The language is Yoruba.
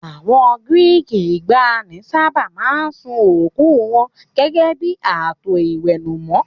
Àwọn Gíríìkì ìgbàanì sábà máa ń sun òkú wọn gẹ́gẹ́ bí ààtò íwẹ́númọ́.